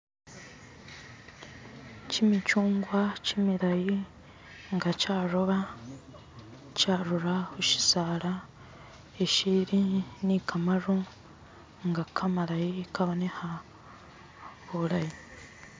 kyimikyungwa kyimilayi nga kyaroba kyarura khushisala ishili ni kamaru nga kamalayi kabonekha bulayi.